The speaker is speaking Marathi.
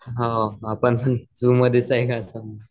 हो आपण पण झूमध्येच